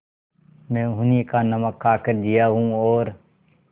मैं उन्हीं का नमक खाकर जिया हूँ और